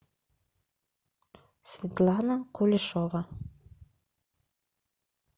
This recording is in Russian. светлана кулешова